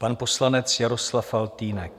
Pan poslanec Jaroslav Faltýnek.